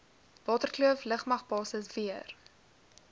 waterkloof lugmagbasis weer